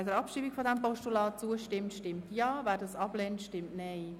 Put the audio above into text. Wer der Abschreibung dieses Postulats zustimmt, stimmt Ja, wer diese ablehnt, stimmt Nein.